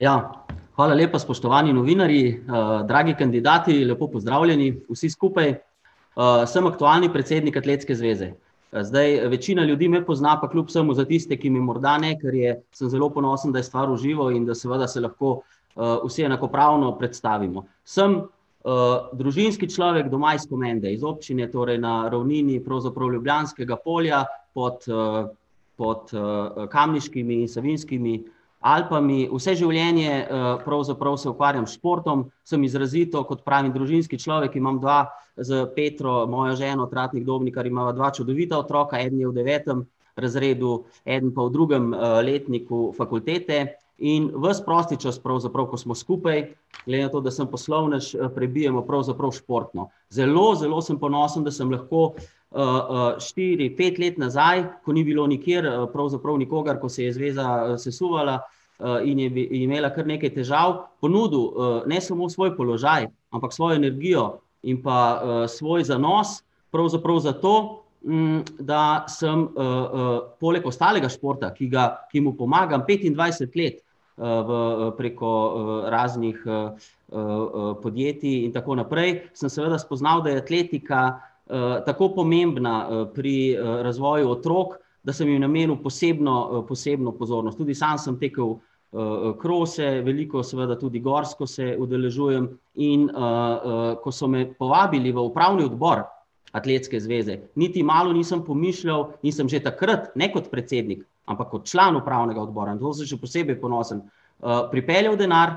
Ja. Hvala lepa, spoštovani novinarji, dragi kandidati, lepo pozdravljeni vsi skupaj. sem aktualni predsednik Atletske zveze. zdaj večina ljudi me pozna, pa kljub vsemu za tiste, ki me morda ne, ker je ... Sem zelo ponosen, da je stvar v živo in da seveda se lahko, vsi enakopravno predstavimo. Sem, družinski človek, doma iz Komende, iz občine torej na ravnini pravzaprav Ljubljanskega polja, pod, pod, Kamniško-Savinjskimi Alpami. Vse življenje, pravzaprav se ukvarjam s športom, sem izrazito, kot pravim, družinski človek, imam dva s Petro, mojo ženo, Tratnik Dobnikar, imava dva čudovita otroka, eden je v devetem razredu, eden pa v drugem, letniku fakultete in vas prosti čas pravzaprav, ko smo skupaj, glede na to, da sem poslovnež, prebijemo pravzaprav športno. Zelo zelo sem ponosen, da sem lahko, štiri, pet let nazaj, ko ni bilo nikjer, pravzaprav nikogar, ko se je zveza sesuvala, in je imela kar nekaj težav, ponudil, ne samo svoj položaj, ampak svojo energijo in pa, svoj zanos pravzaprav zato, da samo, polg ostalega športa, ki ga ... ki mu pomagam petindvajset let, v, preko, raznih, podjetij in tako naprej, sem seveda spoznal, da je atletika, tako pomembna, pri, razvoju otrok, da sem ji namenil posebno, posebno pozornost. Tudi sam sem tekel, krose, veliko seveda tudi gorsko se udeležujem, in, ko so me povabili v upravni odbor Atletske zveze, niti malo nisem pomišljal in sem že takrat, ne kot predsednik, ampak kot član upravnega odbora, na to sem še posebej ponosen, pripeljal denar,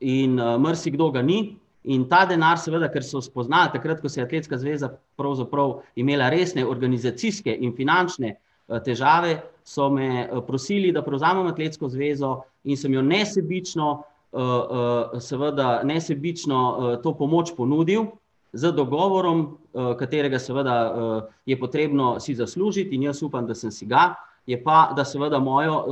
in, marsikdo ga ni, in ta denar, seveda, ker so spoznali takrat, ko se je Atletska zveza pravzaprav imela resne organizacijske in finančne, težave, so me, prosili, da prevzamem Atletsko zvezo, in sem jo nesebično, seveda nesebično, to pomoč ponudil z dogovorom, katerega seveda, je potrebno si zaslužiti, in jaz upam, da sem si ga, je pa, da seveda mojo,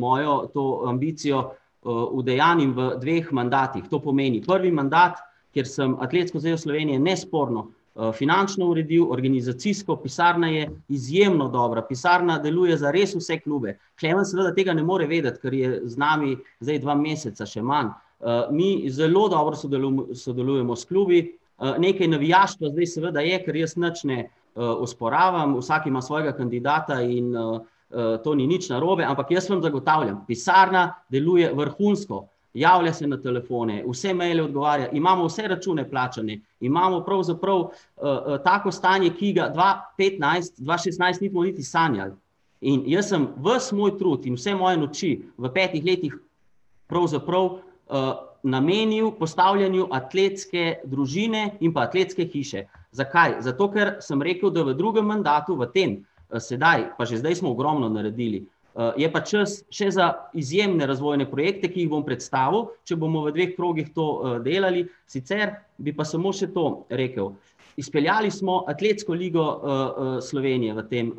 mojo to ambicijo, udejanjim v dveh mandatih. To pomeni, prvi mandat, kjer sem Atletsko zvezo Slovenije nesporno, finančno uredil, organizacijsko, pisarna je izjemno dobra, pisarna deluje zares vse klube. Klemen seveda tega ne more vedeti, ker je z nami zdaj dva meseca, še manj. mi zelo dobro sodelujemo s klubi, nekaj navijaško zdaj seveda je, ker jaz nič ne, osporavam, vsak ima svojega kandidata in, to ni nič narobe, ampak jaz vam zagotavljam, pisarna deluje vrhunsko. Javlja se na telefone, vse maile odgovarja, imamo vse račune plačane, imamo pravzaprav, tako stanje, ki ga dva petnajst, dva šestnajst ni bilo niti sanjal. In jaz sem ves moj trud in vse moje noči v petih letih pravzaprav, namenil postavljanju atletske družine in pa atletske hiše. Zakaj? Zato ker sem rekel, da v drugem mandatu, v tem, sedaj, pa že zdaj smo ogromno naredili, je pa čas še za izjemne razvojne projekte, ki jih bom predstavil, če bomo v dveh krogih to, delali, sicer bi pa samo še to rekel: izpeljali smo Atletsko ligo, Slovenije v tem,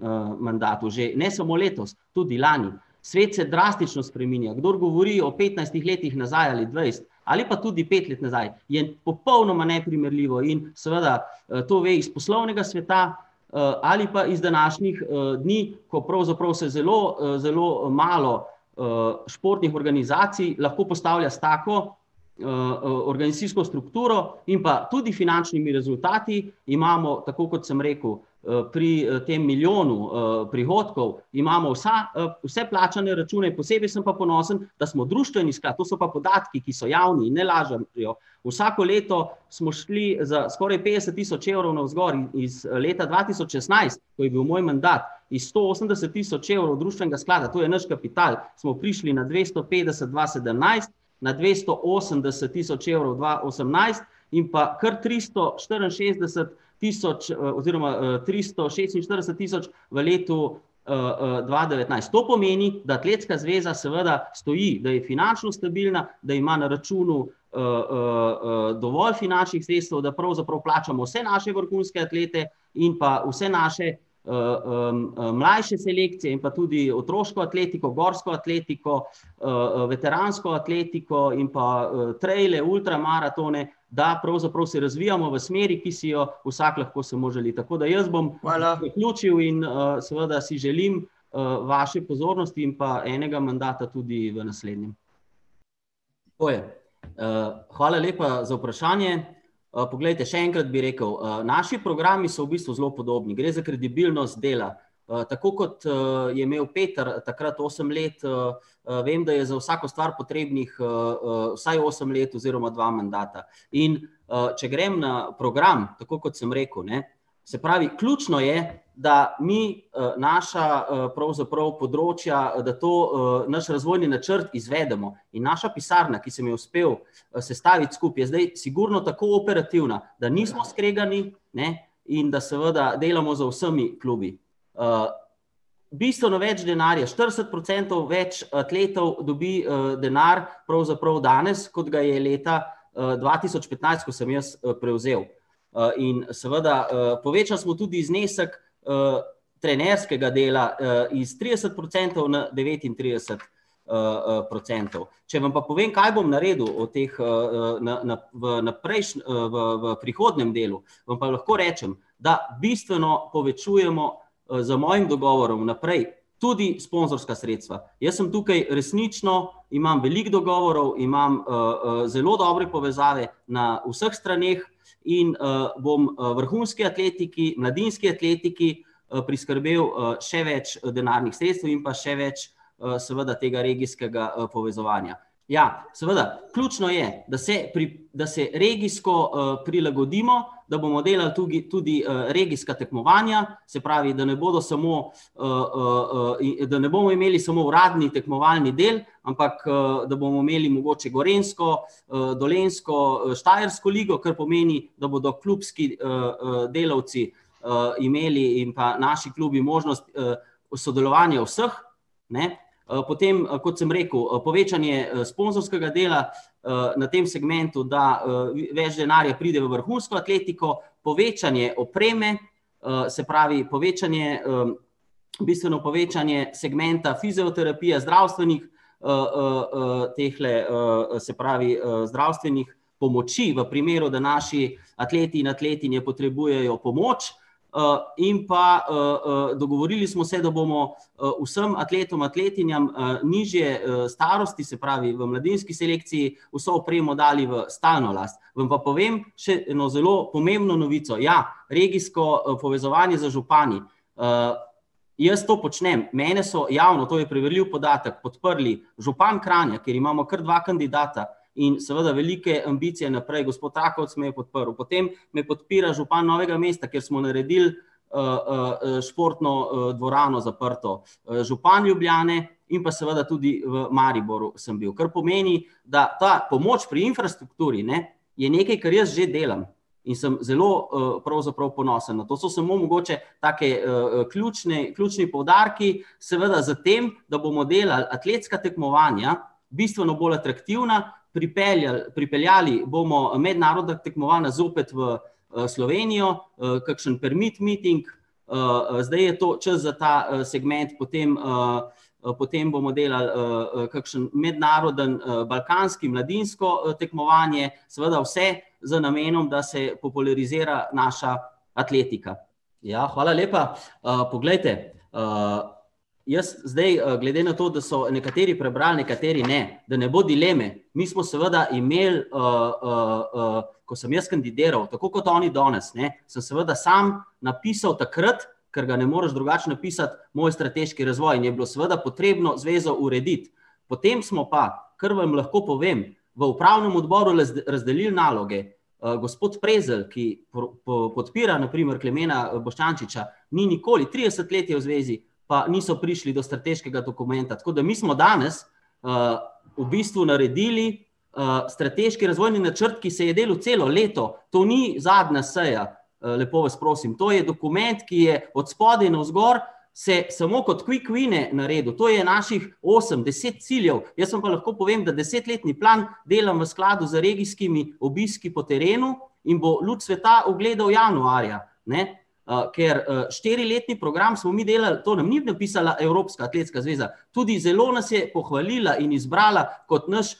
mandatu že, ne samo letos, tudi lani. Svet se drastično spreminja, kdor govori o petnajstih letih nazaj ali dvajset ali pa tudi pet let nazaj, je popolnoma neprimerljivo in, seveda, to ve iz poslovnega sveta, ali pa iz današnjih, dni, ko pravzaprav se zelo, zelo malo, športnih organizacij lahko postavlja s tako, organizacijsko strukturo in pa tudi finančnimi rezultati. Imamo, tako kot sem rekel, pri tem milijonu, prihodkov imamo vsa, vse plačane račune, posebej sem pa ponosen, da smo društveni sklad, to so pa podatki, ki so javni, ne lažem pri vsako leto smo šli za skoraj petdeset tisoč evrov navzgor, iz leta dva tisoč šestnajst, ko je bil moj mandat, iz sto osemdeset tisoč evrov društvenega sklada, to je naš kapital, smo prišli na dvesto petdeset dva sedemnajst na dvesto osemdeset tisoč evrov dva osemnajst in pa kar tristo štiriinšestdeset tisoč, oziroma, tristo šestinštirideset tisoč v letu, dva devetnajst. To pomeni, da Atletska zveza seveda stoji, da je finančno stabilna, da ima na računu, dovolj finančnih sredstev, da pravzaprav plačamo vse naše vrhunske atlete in pa vse naše, mlajše selekcije in pa tudi otroško atletiko, gorsko atletiko, veteransko atletiko in pa, traile, ultramaratone, da pravzaprav se razvijamo v smeri, ki si jo vsak lahko samo želi. Tako da jaz bom zaključil in, seveda si želim, vaše pozornosti in pa enega mandata tudi v naslednjem. Tako je, hvala lepa za vprašanje, poglejte, še enkrat bi rekel, naši programi so v bistvu zelo podobni, gre za kredibilnost dela. tako kot, je imel Peter takrat osem let, vem, da je za vsako stvar potrebnih, vsaj osem let oziroma dva mandata, in, če grem na program, tako kot sem rekel, ne, se pravi, ključno je, da mi, naša, pravzaprav področja, da to, naš razvojni načrt izvedemo. In naša pisarna, ki sem jo uspel sestaviti skupaj, je zdaj sigurno tako operativna, da nismo skregani, ne, in da seveda delamo z vsemi klubi. bistveno več denarja, štirideset procentov več atletov dobi, denar pravzaprav danes, kot ga je leta, dva tisoč petnajst, ko sem jaz, prevzel. in seveda, povečali smo tudi znesek, trenerskega dela, iz trideset procentov na devetintrideset, procentov. Če vam pa povem, kaj bom naredil od teh, na, na, v, na v, v prihodnjem delu, vam pa lahko rečem, da bistveno povečujemo, z mojim dogovorom naprej tudi sponzorska sredstva. Jaz sem tukaj resnično, imam veliko dogovorov, imam, zelo dobre povezave na vseh straneh in, bom vrhunski atletiki, mladinski atletiki, priskrbel, še več, denarnih sredstev in pa še več, seveda tega regijskega, povezovanja. Ja, seveda, ključno je, da se da se regijsko, prilagodimo, da bomo delali tudi regijska tekmovanja, se pravi, da ne bodo samo, da ne bomo imeli samo uradni tekmovalni del, ampak, da bomo imeli mogoče gorenjsko, dolenjsko, štajersko ligo, kar pomeni, da bodo klubski, delavci, imeli in pa naši klubi možnost, bo sodelovanje vseh, ne. potem, kot sem rekel, povečanje sponzorskega dela, na tem segmentu, da, več denarja pride v vrhunsko atletiko, povečanje opreme, se pravi, povečanje, bistveno povečanje segmenta fizioterapija, zdravstvenih, tehle, se pravi, zdravstvenih pomoči v primeru, da naši atleti in atletinje potrebujejo pomoč, in pa, dogovorili smo se, da bomo vsem atletom, atletinjam, nižje, starosti, se pravi v mladinski selekciji, vso opremo dali v stalno last. Vam pa povem še eno zelo pomembno novico, ja, regijsko, povezovanje z župani. jaz to počnem, mene so javno, to je preverljiv podatek, podprli župan Kranja, kjer imamo kar dva kandidata in seveda velike ambicije naprej, gospod Rakovec me je podprl, potem me podpira župan Novega mesta, kjer smo naredili, športno, dvorano, zaprto. župan Ljubljane in pa seveda tudi v Mariboru sem bil, kar pomeni, da ta pomoč pri infrastrukturi, ne, je nekaj, kar jaz že delam in sem zelo, pravzaprav ponosen. No, to so samo mogoče take, ključne, ključni poudarki, seveda s tem, da bomo delali atletska tekmovanja bistveno bolj atraktivna, pripeljali, pripeljali bomo mednarodna tekmovanja zopet v, Slovenijo, kakšen permit meeting, zdaj je to čas za ta, segment, potem, potem bomo delali, kakšen mednarodni balkanski, mladinsko tekmovanje, seveda vse z namenom, da se popularizira naša atletika. Ja, hvala lepa, poglejte, jaz zdaj, glede na to, da so nekateri prebrali, nekateri ne, da ne bo dileme, mi smo seveda imeli, ko sem jaz kandidiral, tako kot oni danes, ne, sem seveda sam napisal takrat, ker ga ne moreš drugače napisati, moj strateški razvoj. Je bilo seveda potrebno zvezo urediti. Potem smo pa, ker vam lahko povem, v upravnem odboru razdelili naloge. gospod Prezelj, ki podpira, na primer, Klemena Boštjančiča, ni nikoli, trideset let je v zvezi, pa niso prišli do strateškega dokumenta. Tako da mi smo danes, v bistvu naredili, strateški razvojni načrt, ki se je delal celo leto. To ni zadnja seja, lepo vas prosim, to je dokument, ki je od spodaj navzgor se samo kot quick wine naredil, to je naših osem, deset ciljev, jaz vam pa lahko povem, da desetletni plan delam v skladu z regijskimi obiski po terenu in bo luč sveta ugledal januarja, ne. ker, štiriletni program smo mi delali, to nam ni napisala Evropska atletska zveza, tudi zelo nas je pohvalila in izbrala kot naš,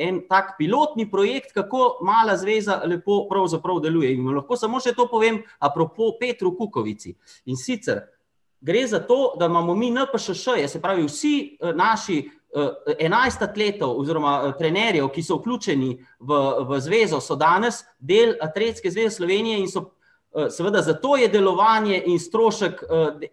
en tak pilotni projekt, kako mala zveza lepo pravzaprav deluje, in vam lahko samo še to povem, à propos Petru Kukovici. In sicer: gre za to, da imamo mi NPŠŠ-je, se pravi vsi, naši, enajst atletov oziroma trenerjev, ki so vključeni v, v zvezo, so danes del Atletske zveze Slovenije in so ... seveda zato je delovanje in strošek,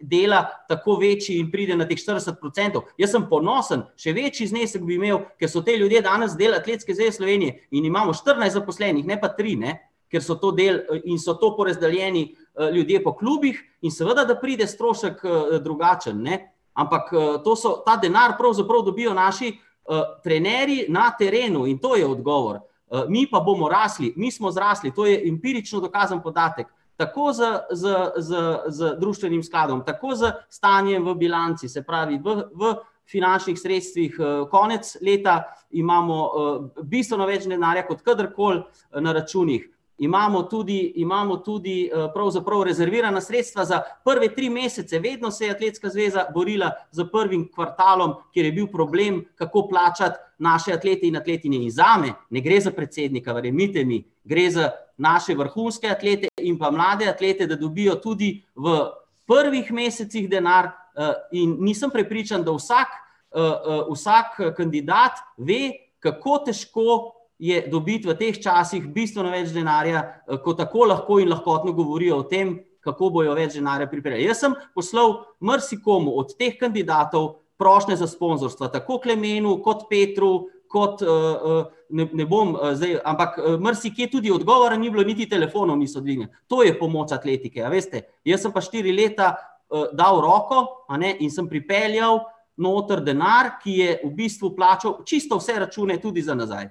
dela tako večji in pride na teh štirideset procentov, jaz sem ponosen, še večji znesek bi imeli, ker so ti ljudje danes del Atletske zveze Slovenije in imamo štirinajst zaposlenih, ne pa tri, ne. Ker so to del in so to porazdeljeni, ljudje po klubih in seveda, da pride strošek, drugačen, ne. Ampak, to so, ta denar pravzaprav dobijo naši, trenerji na terenu, in to je odgovor. mi pa bomo rasli, mi smo zrasli, to je empirično dokazano podatek. Tako z, z, z, z društvenim skladom, tako za stanje v bilanci, se pravi v, v finančnih sredstvih, konec leta imamo bistveno več denarja kot kadarkoli na računih. Imamo tudi, imamo tudi pravzaprav rezervirana sredstva za prve tri mesece, vedno se je Atletska zveza borila s prvim kvartalom, kjer je bil problem, kako plačati naše atlete in atletinje. In zame ne gre za predsednika, verjemite mi, gre za naše vrhunske atlete in pa mlade atlete, da dobijo tudi v prvih mesecih denar, in nisem prepričan, da vsak, vsak kandidat ve, kako težko je dobiti v teh časih bistveno več denarja, ko tako lahko in lahkotno govorijo o tem, kako bojo več denarja pripeljali. Jaz sem poslal marsikomu od teh kandidatov prošnje za sponzorstva, tako Klemenu kot Petru, kot, ne, ne bom zdaj, ampak marsikje tudi odgovora ni bilo niti telefonov niso dvignili. To je pomoč atletike, a veste. Jaz sem pa štiri leta, dal roko, a ne, in sem pripeljal noter denar, ki je v bistvu plačal čisto vse račune, tudi za nazaj.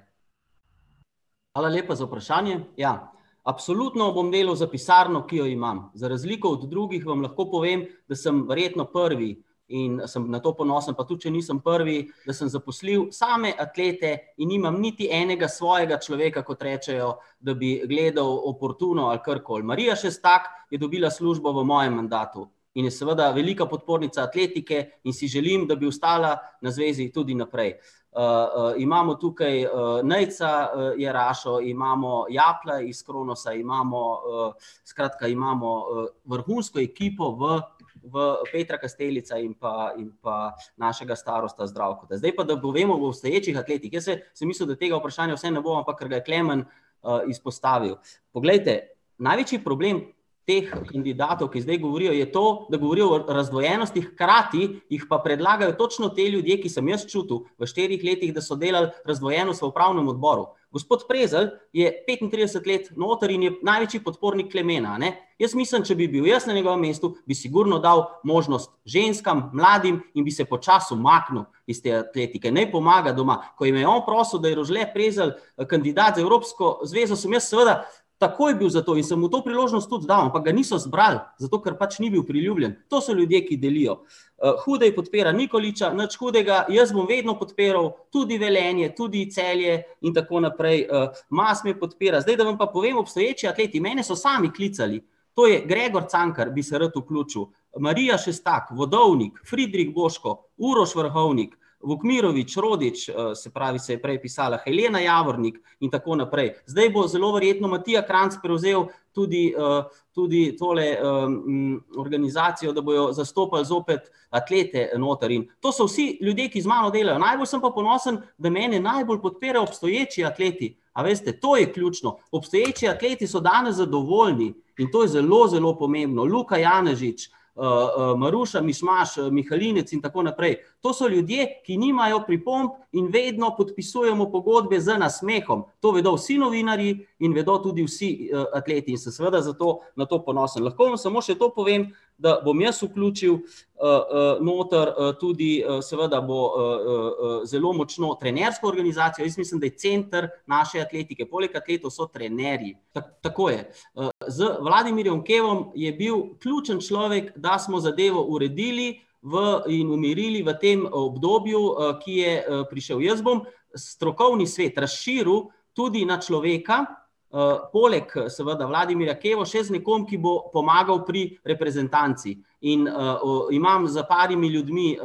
Hvala lepa za vprašanje. Ja, absolutno bom delal za pisarno, ki jo imam. Za razliko od drugih vam lahko povem, da sem verjetno prvi, in sem na to ponosen, pa tudi če nisem prvi, da sem zaposlil same atlete in nimam niti enega svojega človeka, kot rečejo, da bi gledal oportuno ali karkoli. Marija Šestak je dobila službo v mojem mandatu in je seveda velika podpornica atletike in si želim, da bi ostala na zvezi tudi naprej. imamo tukaj, Nejca, Jerašo, imamo Japlja iz Kronosa, imamo, skratka, imamo, vrhunsko ekipo v, v, Petra Kastelica in pa, in pa našega starosta Zdravkota. Zdaj pa, da povemo o obstoječih atletih, jaz se, sem mislil, da tega vprašanja vseeno ne bo, ampak ker ga je Klemen, izpostavil. Poglejte, največji problem teh kandidatov, ki zdaj govorijo, je to, da govorijo o razdvojenostih, hkrati jih pa predlagajo točno ti ljudje, ki sem jaz čutil, v štirih letih, da so delali razdvojenost v upravnem odboru. Gospod Prezelj je petintrideset let noter in je največji podpornik Klemena, a ne. Jaz mislim, če bi bil jaz na njegovem mestu, bi sigurno dal možnost ženskam, mladim in bi se počasi umaknil iz te atletike. Ne pomaga doma. Ko je me on prosil, da je Rožle Prezelj kandidat za Evropsko zvezo, sem jaz seveda takoj bil za to in sem mu to priložnost tudi dal, ampak ga niso izbrali, zato ker pač ni bil priljubljen. To so ljudje, ki delijo. Hudej podpira Nikoliča, nič hudega, jaz bom vedno podpiral tudi Velenje, tudi Celje, in tako naprej, Mas me podpira, zdaj da vam pa povem, obstoječi atleti, mene so sami klicali. To je Gregor Cankar, bi se rad vključil, Marija Šestak, Vodovnik, Fridrik Boško, Uroš Vrhovnik, Vukmirović, Rodič, se pravi, se je prej pisala, Helena Javornik, in tako naprej. Zdaj bo zelo verjetno Matija Kranjc prevzel tudi, tudi tole, organizacijo, da bojo zastopali zopet atlete noter. In to so vsi ljudje, ki z mano delajo, najbolj sem pa ponosen, da mene najbolj podpira obstoječi atleti. A veste, to je ključno. Obstoječi atleti so danes zadovoljni in to je zelo zelo pomembno. Luka Janežič, Maruša Mišmaš Mihelinec in tako naprej, to so ljudje, ki nimajo pripomb, in vedno podpisujemo pogodbe z nasmehom. To vedo vsi novinarji in vedo tudi vsi atleti in sem seveda zato na to ponosen. Lahko vam samo še to povem, da bom jaz vključil, noter, tudi, seveda bo, zelo močno trenersko organizacijo, jaz mislim, da je center naše atletike, poleg atletov, so trenerji. tako je. z Vladimirjem Kevom je bil ključni človek, da smo zadevo uredili, v in umirili v tem obdobju, ki je, prišel. Jaz bom strokovni svet razširil tudi na človeka, poleg seveda Vladimirja Keva, še z nekom, ki bo pomagal pri reprezentanci. In, imam s par ljudmi,